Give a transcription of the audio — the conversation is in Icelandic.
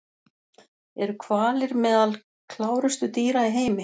Eru hvalir meðal klárustu dýra í heimi?